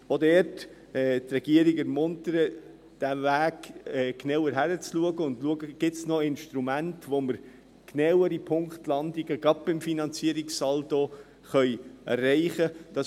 Also auch dort ermuntern wir die Regierung, auf diesem Weg genauer hinzuschauen und schauen, ob es noch Instrumente gibt, mit denen wir genauere Punktlandungen, gerade beim Finanzierungssaldo, erreichen können.